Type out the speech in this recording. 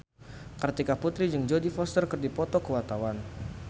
Kartika Putri jeung Jodie Foster keur dipoto ku wartawan